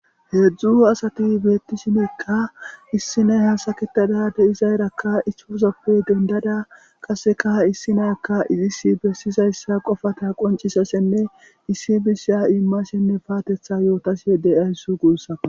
heedzdzu asati beetti shinekka issiney hasaketada de izaerakka ihufuzoppe dendada qaseka issinakka izis bessizayssa qofata qoncisassenne issi misiya immasenne paatetha yootas deyayss guussa